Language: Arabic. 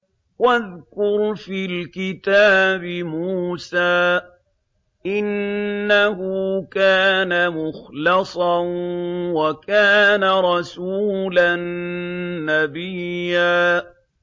وَاذْكُرْ فِي الْكِتَابِ مُوسَىٰ ۚ إِنَّهُ كَانَ مُخْلَصًا وَكَانَ رَسُولًا نَّبِيًّا